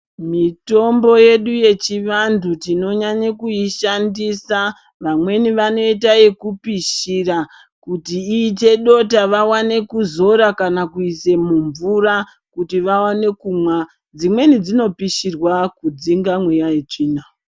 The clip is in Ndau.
Mitombo yedu yechivantu tinonyanye kuishandisa. Vamweni vanoita yekupishira kuti iite dota vawane kudzora kana kuise mumvura kuti vawane kumwa. Dzimweni dzinopishirwa kudzinga meeya yetsvina.